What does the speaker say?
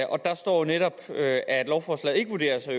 og der står jo netop at at lovforslaget ikke vurderes at